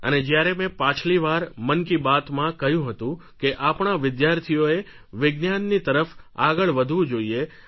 અને જ્યારે મેં પાછલી વાર મન કી બાતમાં કહ્યું હતું કે આપણા વિદ્યાર્થીઓએ વિજ્ઞાનની તરફ આગળ વધવું જોઈએ